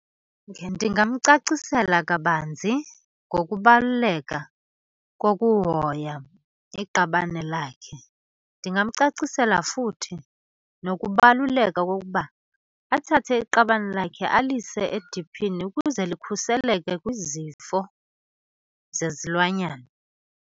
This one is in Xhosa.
Ndingamcacisela kabanzi ngokubaluleka kokuhoya iqabane lakhe. Ndingamcacisela futhi nokubaluleka kokuba athathe iqabane lakhe alise ediphini ukuze likhuseleke kwizifo zezilwanyana.